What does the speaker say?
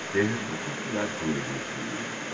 ter responsabilidade, como eu disse.